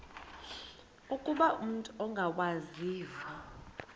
ukuba umut ongawazivo